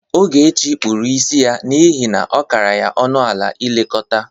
Ogechi kpụrụ isi ya n'ihe na ọ kara ya ọnụ ala ilekọta.